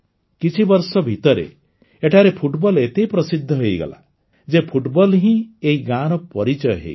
କିଛିବର୍ଷ ଭିତରେ ଏଠାରେ ଫୁଟବଲ ଏତେ ପ୍ରସିଦ୍ଧ ହୋଇଗଲା ଯେ ଫୁଟବଲ ହିଁ ଏଇ ଗାଁର ପରିଚୟ ହୋଇଗଲା